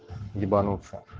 ебануться